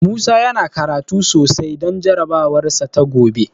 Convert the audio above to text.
Musa yana karatu sosai don jarabawarsa ta gobe.